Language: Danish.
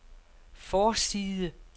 forside